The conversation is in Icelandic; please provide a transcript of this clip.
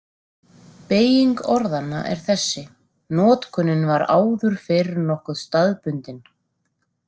Beyging orðanna er þessi: Notkunin var áður fyrr nokkuð staðbundin.